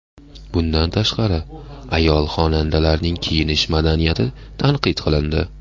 Bundan tashqari, ayol-xonandalarning kiyinish madaniyati tanqid qilindi.